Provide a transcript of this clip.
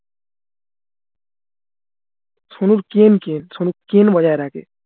সোনুর সোনু বজায় রাখে